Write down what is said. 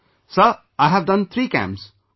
Sir, I have done 3 camps